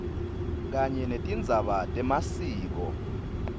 kanye netindzaba temasiko